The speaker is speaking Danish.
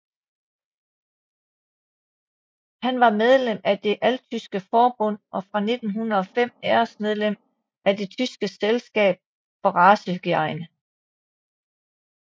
Han var medlem af Det altyske forbund og fra 1905 æresmedlem af Det tyske selskab for racehygiene